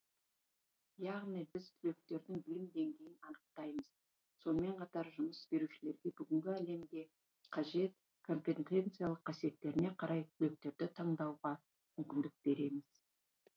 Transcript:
яғни біз түлектердің білім деңгейін анықтаймыз сонымен қатар жұмыс берушілерге бүгінгі әлемде қажет компетенциялық қасиеттеріне қарай түлектерді таңдауға мүмкіндік береміз